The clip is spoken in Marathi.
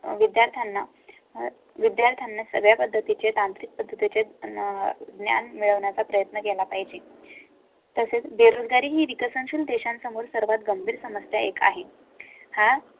विद्यार्थ्यांना विद्यार्थ्यांना सगळ्या पद्धतीचे तांत्रिक पद्धतीचे ज्ञान मिळवण्या चा प्रयत्न केला पाहिजे. तसेच बेरोजगारी ही विकसनशील देशांसमोर सर्वात गंभीर समस्या एक आहे. हा